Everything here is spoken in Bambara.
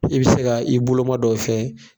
I bi se ka i boloma dɔ fɛ.